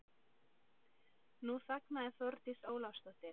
Nú þagnaði Þórdís Ólafsdóttir.